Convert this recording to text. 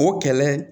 O kɛlɛ